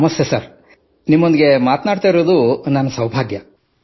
ನಮಸ್ತೆ ಸರ್ ನಿಮ್ಮೊಂದಿಗೆ ಮಾತಾಡುತ್ತಿರುವುದು ನನ್ನ ಸೌಭಾಗ್ಯ